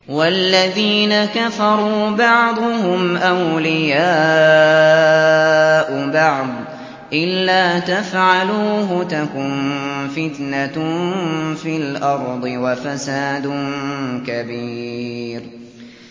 وَالَّذِينَ كَفَرُوا بَعْضُهُمْ أَوْلِيَاءُ بَعْضٍ ۚ إِلَّا تَفْعَلُوهُ تَكُن فِتْنَةٌ فِي الْأَرْضِ وَفَسَادٌ كَبِيرٌ